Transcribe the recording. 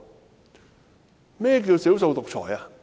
甚麼是少數獨裁？